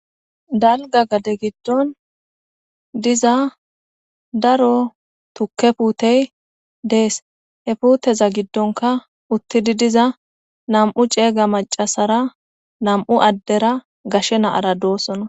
dalga gade giddon diza daro tukke puutey dees he puuteza giddonka uttidi diza nam7u ceega macasara nam7u addera gashe naara doosona